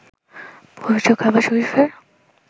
পবিত্র কাবা শরিফের